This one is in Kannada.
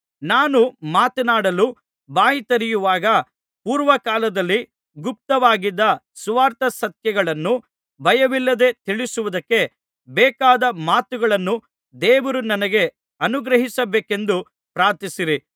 ನಾನು ಮಾತನಾಡಲು ಬಾಯಿ ತೆರೆಯುವಾಗ ಪೂರ್ವಕಾಲದಲ್ಲಿ ಗುಪ್ತವಾಗಿದ್ದ ಸುವಾರ್ತಾಸತ್ಯಗಳನ್ನು ಭಯವಿಲ್ಲದೆ ತಿಳಿಸುವುದಕ್ಕೆ ಬೇಕಾದ ಮಾತುಗಳನ್ನು ದೇವರು ನನಗೆ ಅನುಗ್ರಹಿಸಬೇಕೆಂದು ಪ್ರಾರ್ಥಿಸಿರಿ